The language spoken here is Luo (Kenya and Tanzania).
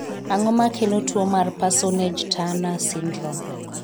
Ang'o makelo tuo mar Parsonage Turner syndrome?